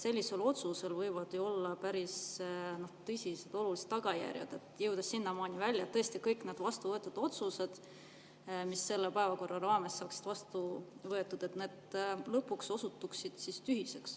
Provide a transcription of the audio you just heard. Sellisel otsusel võivad olla ju päris tõsised, olulised tagajärjed, kuni sinnamaani välja, et tõesti kõik need otsused, mis selle päevakorra raames saavad vastu võetud, osutuvad lõpuks tühiseks.